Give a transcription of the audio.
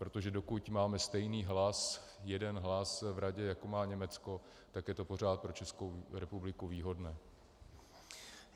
Protože dokud máme stejný hlas, jeden hlas v Radě, jako má Německo, tak je to pořád pro Českou republiku výhodné.